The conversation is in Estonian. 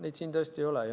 Neid siin tõesti ei ole.